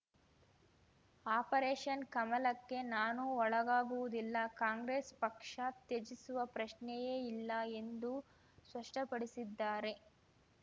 operation ಕಮಲಕ್ಕೆ ನಾನು ಒಳಗಾಗುವುದಿಲ್ಲ ಕಾಂಗ್ರೆಸ್‌ ಪಕ್ಷ ತ್ಯಜಿಸುವ ಪ್ರಶ್ನೆಯೇ ಇಲ್ಲ ಎಂದು ಸ್ಪಷ್ಟಪಡಿಸಿದ್ದಾರೆ